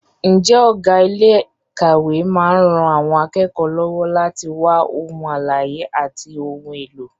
Ǹjẹ́ ọ̀gá ilé ìkàwé máa ń ran àwọn akẹ́kọ̀ọ́ lọ́wọ́ láti wá ohun àlàyé àti ohun èlò?